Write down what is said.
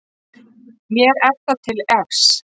Mér er það til efs.